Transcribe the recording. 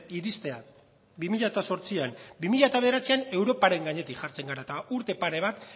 iristea bi mila zortzian bi mila bederatzian europaren gainetik jartzen gara eta urte pare bat